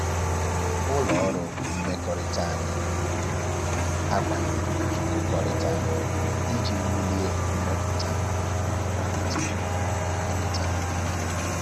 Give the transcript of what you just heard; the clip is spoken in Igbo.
Ụlọ ọrụ mmekọrịta anyị na-akwado nkụkọrịta iji wulie mmepụta ma kwalite mmekọrịta